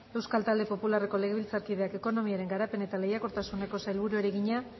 euskal talde popularreko legebiltzarkideak ekonomiaren garapen eta lehiakortasuneko sailburuari egina